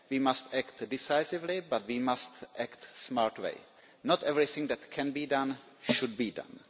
We must act decisively but we must act smartly not everything that can be done should be done.